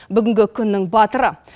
бүгінгі күннің батыры